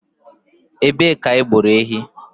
Ebe ka ha gburu ehi?